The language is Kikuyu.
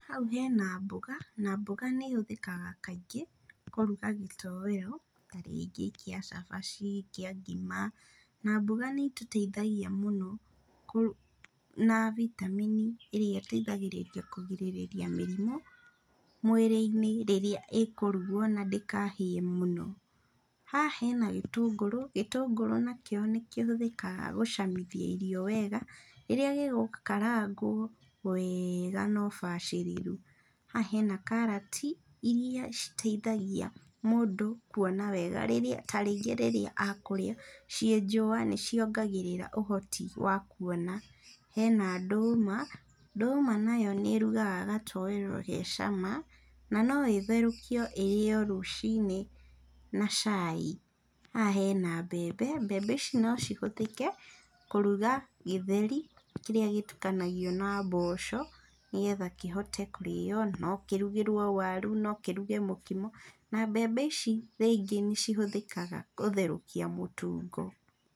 Hau hena mboga, na mboga nĩ ĩhũthĩkaga kaingĩ kũruga gĩtoero ta rĩngĩ kĩa cabaci, kĩa ngima, na mboga nĩ itũteithagia mũno na vitameni, ĩrĩa ĩteithagĩrĩria kũgirĩrĩria mĩrimũ, mwĩrĩ-inĩ rĩrĩa ĩkũrugwo na ndĩkahĩe mũno. Haha hena gĩtũngũrũ, gĩtũngũrũ nakĩo nĩkĩhũthĩkaga gũcamithia irio wega, rĩrĩa gĩgũkarangwo wega na ũbacĩrĩru. Haha hena karati, iria citeithagia mũndũ kuona wega rĩrĩa, ta rĩngĩ rĩrĩa akũrĩa ciĩ njũa nĩciongagĩrĩra ũhoti wa kuona. Hena ndũma, ndũma nayo nĩ ĩrugaga gatoero ge cama, na no ĩtherũkio ĩrĩo rũciinĩ na cai. Haha hena mbembe, mbembe ici nocihũthĩke kũruga gĩtheri, kĩrĩa gĩtukanagio na mboco, nĩgetha kĩhote kũrĩo, na nokĩrugĩrwo waru, no kĩruge mũkimo, na mbembe ici rĩngĩ nĩcihũthĩkaga gũtherũkia mũtungo.